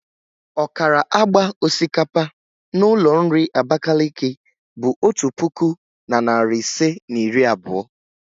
ọkara agba osikapa n'ụlọ nri Abakaliki bụ otu puku na narị ise na iri abụọ.